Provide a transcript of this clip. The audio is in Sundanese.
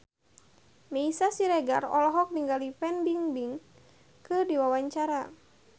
Meisya Siregar olohok ningali Fan Bingbing keur diwawancara